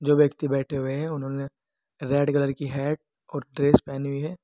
दो व्यक्ति बैठे हुए हैं उन्होंने रेड कलर की हैट और ड्रेस पहनी हुई है।